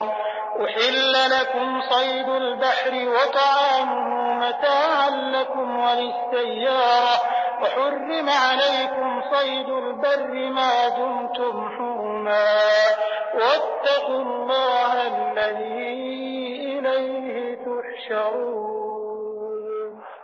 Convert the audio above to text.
أُحِلَّ لَكُمْ صَيْدُ الْبَحْرِ وَطَعَامُهُ مَتَاعًا لَّكُمْ وَلِلسَّيَّارَةِ ۖ وَحُرِّمَ عَلَيْكُمْ صَيْدُ الْبَرِّ مَا دُمْتُمْ حُرُمًا ۗ وَاتَّقُوا اللَّهَ الَّذِي إِلَيْهِ تُحْشَرُونَ